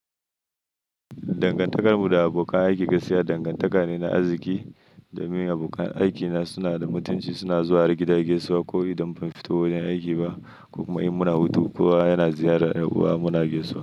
Dangantakar mu da abokan aiki gaskiya dangantaka ne na arziƙi domin abokan aikina suna da mutunci, suna zuwa har gida gaisuwa, ko idan ban fito wurin aiki ba, ko kuma in muna hutu kowa yana ziyarar ɗan uwa muna gaisuwa.